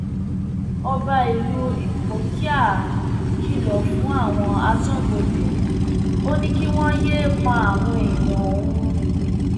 ọba ìlú ìpókíà kìlọ fáwọn aṣọbodè ò ní kí wọn yéé pa àwọn èèyàn òun